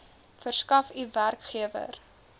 verskaf u werkgewer